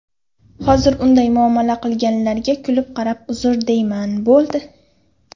Hozir unday muomala qilganlarga kulib qarab uzr deyman, bo‘ldi.